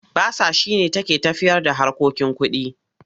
Basa shi ne take tafiyarda harkokin kuɗi.